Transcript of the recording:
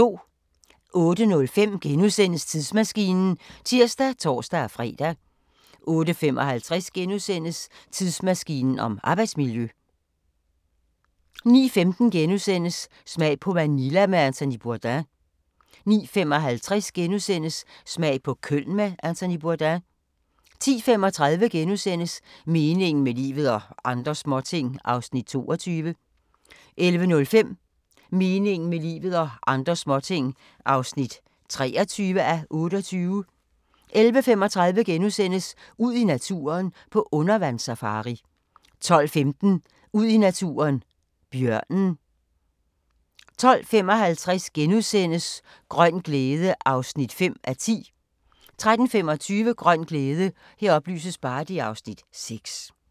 08:05: Tidsmaskinen *(tir og tor-fre) 08:55: Tidsmaskinen om arbejdsmiljø * 09:15: Smag på Manila med Anthony Bourdain * 09:55: Smag på Köln med Anthony Bourdain * 10:35: Meningen med livet – og andre småting (22:28)* 11:05: Meningen med livet – og andre småting (23:28) 11:35: Ud i naturen: På undervandssafari * 12:15: Ud i naturen: Bjørnen 12:55: Grøn glæde (5:10)* 13:25: Grøn glæde (Afs. 6)